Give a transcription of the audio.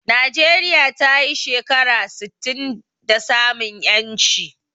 Najeriya tayi shekara sittin da samun ƴanci